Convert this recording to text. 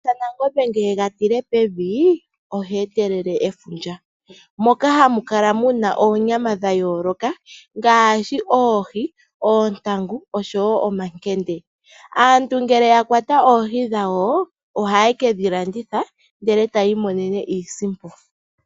YaNangombe uuna ye ga tilehi pevi oha etelele efundja moka hamu kala oonyama dha yooloka ngaashi oohi, oontangu nomakende. Aantu ngele ya kwata oohi dhawo ohaye ke dhi landitha ndele taya imonene iisimpo.